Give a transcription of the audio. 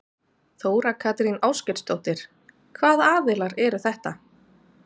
Þóra Kristín Ásgeirsdóttir: Hvaða aðilar eru þetta?